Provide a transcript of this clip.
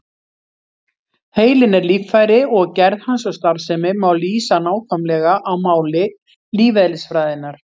Heilinn er líffæri og gerð hans og starfsemi má lýsa nákvæmlega á máli lífeðlisfræðinnar.